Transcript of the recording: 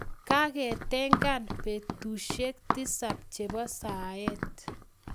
Kaketengan [etusiek tisap chebo saet